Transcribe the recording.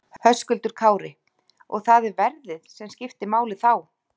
Höskuldur Kári: Og það er verðið sem skiptir máli þá?